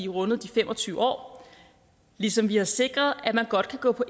rundet de fem og tyve år ligesom vi har sikret at man godt kan gå på